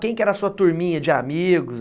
Quem que era a sua turminha de amigos?